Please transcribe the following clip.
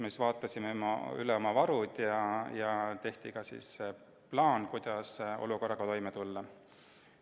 Me vaatasime üle oma varud ja tegime plaani, kuidas olukorraga toime tulla.